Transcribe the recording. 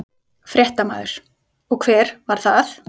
Fréttamaður: Og hver var það?